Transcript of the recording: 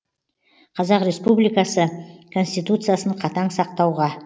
қазақ республикасы конституциясын қатаң сақтауға